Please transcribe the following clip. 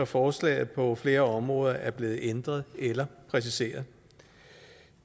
forslaget på flere områder er blevet ændret eller præciseret